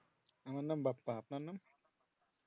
আমার নাম বাপ্পা আপনার নাম?